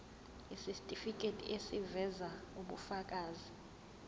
isitifiketi eziveza ubufakazi